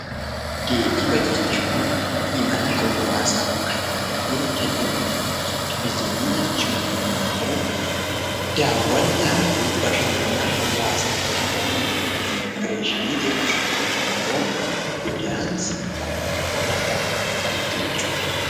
Geejjiba jechuun imala hawaasaaf kan tajaajila kennanidha. Turizimii jechuun immoo daawwannaa fi bashannana hawaasaa kan oolanidha. Immigireeshinii jechuun immoo godaansa bakka tokkorraa bakka biraatti jechuudha.